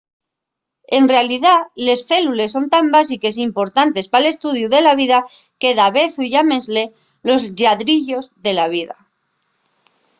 en realidá les célules son tan básiques y importantes pal estudiu de la vida que davezu llámenles los lladriyos de la vida